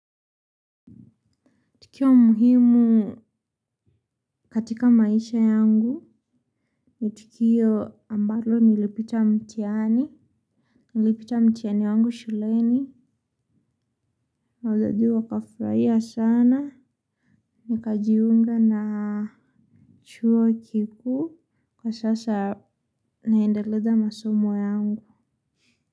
Tukio muhimu katika maisha yangu. Ni tukio ambalo nilipita mtiani. Nilipita mtihani wangu shuleni. Wazazi wakafurahia sana. Nikajiunga na chuo kikuu. Kwa sasa naendeleza masomo yangu.